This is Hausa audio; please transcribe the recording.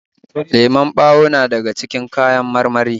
Lemon ɓawo na daga cikin kawan marmari